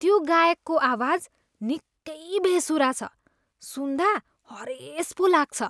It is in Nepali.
त्यो गायकको आवाज निकै बेसुरा छ। सुन्दा हरेस पो लाग्छ।